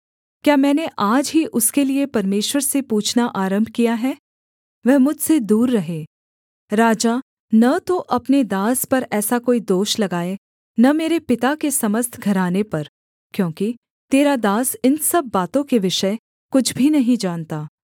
क्या मैंने आज ही उसके लिये परमेश्वर से पूछना आरम्भ किया है वह मुझसे दूर रहे राजा न तो अपने दास पर ऐसा कोई दोष लगाए न मेरे पिता के समस्त घराने पर क्योंकि तेरा दास इन सब बातों के विषय कुछ भी नहीं जानता